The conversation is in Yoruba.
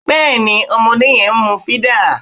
Bẹ́ẹ̀ ni ọmọdé yẹn ń mú fídà